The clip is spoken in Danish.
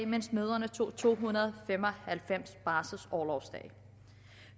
mens mødrene tog to hundrede og fem og halvfems barselsorlovsdage